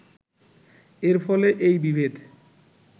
এর ফলে এই বিভেদ